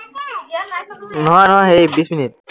নহয় নহয় হেৰি বিশ মিনিট